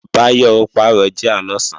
Báyọ̀ ó pàrọ̀ jíà lọ̀sán